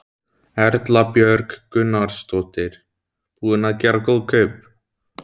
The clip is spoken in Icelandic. Erla Björg Gunnarsdóttir: Búinn að gera góð kaup?